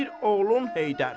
Bir oğlum Heydər.